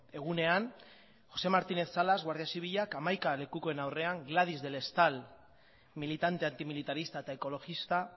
egunean jose martinez salas guardia zibilak hamaika lekukoen aurrean gladys del estal militante antimilitarista eta ekologista